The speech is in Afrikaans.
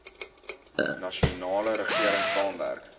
nasionale regering saamwerk